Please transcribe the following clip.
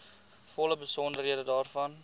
volle besonderhede daarvan